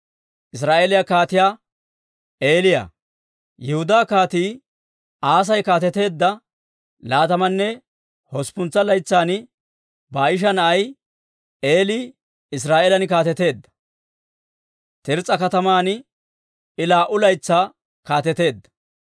Yihudaa Kaatii Aasi kaateteedda laatammanne usuppuntsa laytsan Baa'isha na'ay Eeli Israa'eelan kaateteedda. Tirs's'a kataman I laa"u laytsaa kaateteedda.